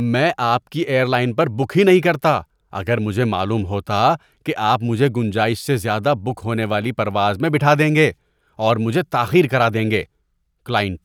میں آپ کی ایئر لائن پر بک ہی نہیں کرتا اگر مجھے معلوم ہوتا کہ آپ مجھے گنجائش سے زیادہ بک ہونے والی پرواز میں بٹھا دیں گے اور مجھے تاخیر کرا دیں گے۔ (کلائنٹ)